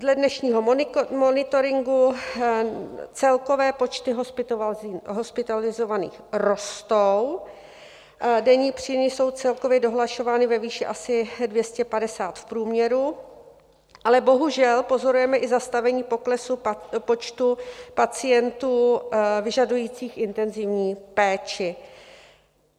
Dle dnešního monitoringu celkové počty hospitalizovaných rostou, denní příjmy jsou celkově dohlašovány ve výši asi 250 v průměru, ale bohužel pozorujeme i zastavení poklesu počtu pacientů vyžadujících intenzivní péči.